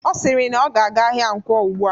Ọ siri na ọ na-aga ahịa Nkwo ugbua